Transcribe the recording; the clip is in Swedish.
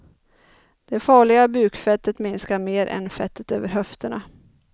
Det farliga bukfettet minskar mer än fettet över höfterna.